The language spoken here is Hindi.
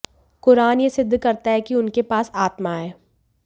कुरान यह सिद्ध करता है कि उनके पास आत्मा है